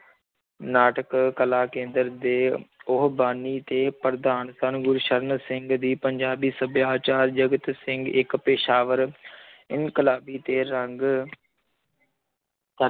ਨਾਟਕ ਕਲਾ ਕੇਂਦਰ ਦੇ ਉਹ ਬਾਨੀ ਤੇ ਪ੍ਰਧਾਨ ਸਨ, ਗੁਰਸਰਨ ਸਿੰਘ ਦੀ ਪੰਜਾਬੀ ਸਭਿਆਚਾਰ, ਜਗਤ ਸਿੰਘ ਇੱਕ ਪੇਸ਼ਾਵਰ ਇਨਕਲਾਬੀ ਤੇ ਰੰਗ